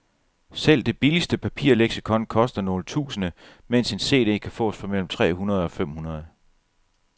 Selv det billigste papirleksikon koster nogle tusinde, mens en cd kan fås for mellem tre hundrede og fem hundrede.